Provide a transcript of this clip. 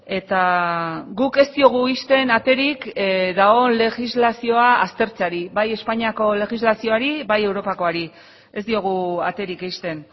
eta guk ez diogu ixten aterik dagoen legislazioa aztertzeari bai espainiako legislazioari bai europakoari ez diogu aterik ixten